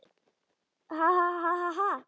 Um mig flæddi kaldur bjór.